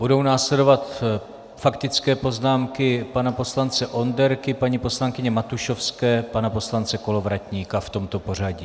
Budou následovat faktické poznámky pana poslance Onderky, paní poslankyně Matušovské, pana poslance Kolovratníka, v tomto pořadí.